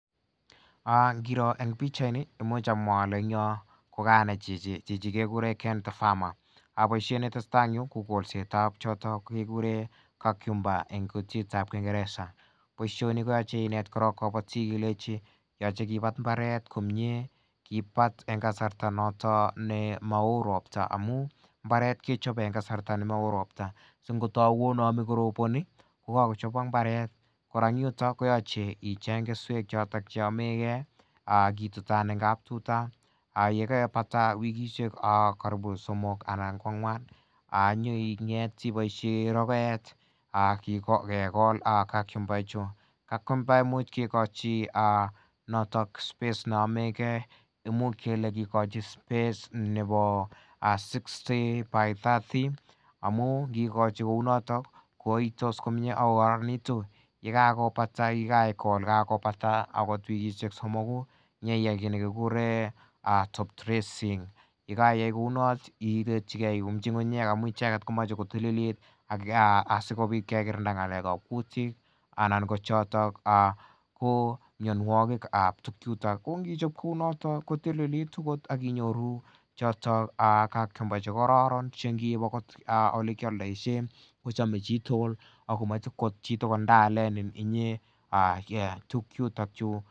Ingiroo en pichait ni, imuch amwa ale en Yoon , kekuren Ken the Farmer. Kit netesetai en yu kekuren cucumber en kutitab kingereza. boisioni koyache iNet koron kabatik ilenchi yache kobat imbaret komie, yache kibat en kasarta noton ne maoo robta amuun imbaret kechabe en kasarta nemaoo rob ta amuun imbaret kechabe en kasarta nemaoo robta singoname akorobani kokakochobok imbaret, kora en yuton koyache icheng keswek choto cheamege, angap itutab , yekaipata wikishek somok anan ko ang'uan inyei ibaishen rokoet akekol cucumber [cs ]K cucumber imuch ikoi space neamege imuch kikochi space nebo 60*30 amuun kikochi kounoton koitos komie Ako kararan nitu yekakobata kaikol yekakobata akot wikishek somoku kit nekikuren top dressing yekaiyai kouni imuchi ng'ung. Komache kotililit asikobit anan ko choto ko mianogig ab tuk chutoko inichab kouu noto kotililit ak cucumber chekaran olekial daishem kochame chitugul akomachevchito konai ndaaleni inye tuk chuto chu